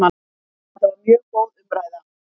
Þetta var mjög góð umræða